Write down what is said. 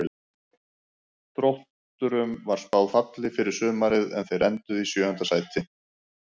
Þrótturum var spáð falli fyrir sumarið en þeir enduðu í sjöunda sæti.